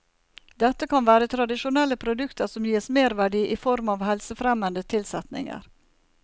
Dette kan være tradisjonelle produkter som gis merverdi i form av helsefremmende tilsetninger.